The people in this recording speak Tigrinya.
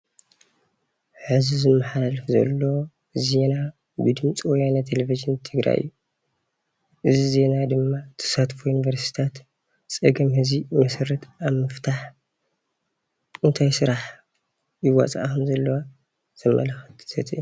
ሕዚ ዝመሓላለፍ ዘሎ ዜና ብድምፂ ወያነ ቴለቭዥን ትግራይ እዩ፡፡ እዚ ዜና ድማ ተሳትፎ ዩኒቨርስትታት ፀገም ህዝቢ መሰረት ኣብ ምፍታሕ እንታይ ስራሕ ይወፃኣ ከም ዘለዋ ዘመላክት ዘተ እዩ፡፡